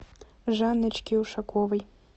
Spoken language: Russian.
жанночки ушаковой